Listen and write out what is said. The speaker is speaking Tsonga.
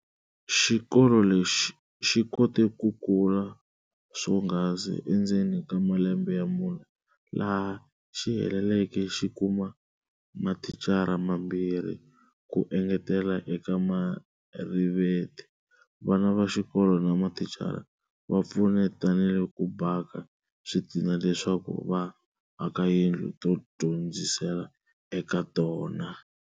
Xikolo lexi xikote ku kula swonghasi endzeni ka malembe ya mune, laha xiheleleke xikuma mathicara mambirhi ku engetela eka Marivate. Vana vaxikolo na mathicara, vapfunetanile ku bhaka switina leswaku va aka tiyindlu to dyondzisela eka tona.